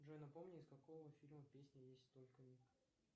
джой напомни из какого фильма песня есть только миг